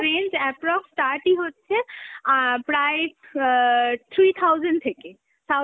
range approx start ই হচ্ছে অ্যাঁ প্রায় অ্যাঁ three thousand থেকে South